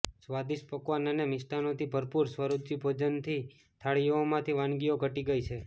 સ્વાદિષ્ટ પકવાન અને મિષ્ટાનોથી ભરપૂર સ્વરૂચિ ભોજનની થાળીઓમાંથી વાનગીઓ ઘટી ગઇ છે